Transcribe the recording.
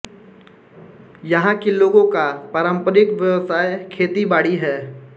यहाँ के लोगों का पारंपरिक व्यवसाय खेतीबाड़ी है